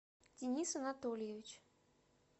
денис анатольевич